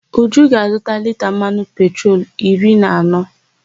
Uju ga-azụta lita mmanụ petrolu iri na anọ.